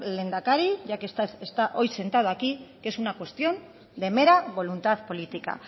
lehendakari ya que está hoy sentado aquí es un cuestión de mera voluntad política